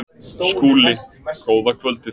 SKÚLI: Góða kvöldið!